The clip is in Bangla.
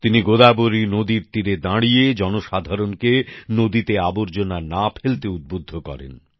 তিনি গোদাবরী নদীর তীরে দাঁড়িয়ে জনসাধারণকে নদীতে আবর্জনা না ফেলতে উদ্বুদ্ধ করেন